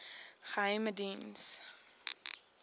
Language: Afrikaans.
geheimediens